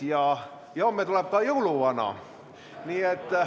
Ja homme tuleb ka jõuluvana.